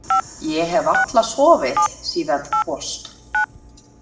Ég hef varla sofið síðan þú fórst.